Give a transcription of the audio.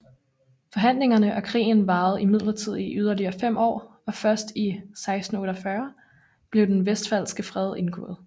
Forhandlingerne og krigen varede imidlertid i yderligere fem år og først i 1648 blev den Westfalske Fred indgået